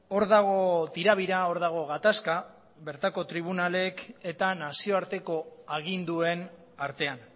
hor dago tira bira hor dago gatazka bertako tribunalek eta nazioarteko aginduen artean